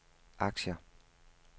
aktier